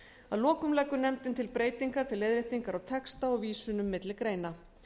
að lokum leggur nefndin til breytingar til leiðréttingar á texta og vísunum milli greina